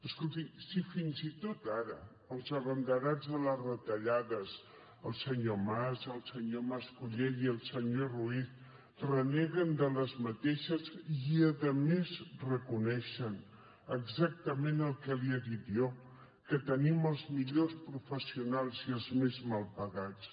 escolti si fins i tot ara els abanderats de les retallades el senyor mas el senyor mas colell i el senyor ruiz en reneguen i a més reconeixen exactament el que li he dit jo que tenim els millors professionals i els més mal pagats